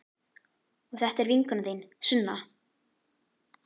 Og þetta er vinkona þín, Sunna!